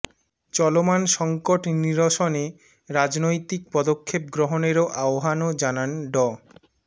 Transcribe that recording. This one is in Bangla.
চলমান সংকট নিরসনে রাজনৈতিক পদক্ষেপ গ্রহণেরও আহ্বানও জানান ড